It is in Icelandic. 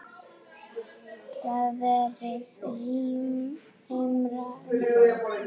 Þar verði rýmra um þær.